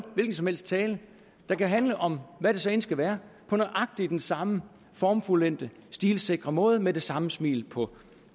hvilken som helst tale der kan handle om hvad det så end skal være på nøjagtig den samme formfuldendte stilsikre måde og med det samme smil på